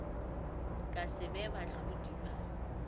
ka se be bahlodi ba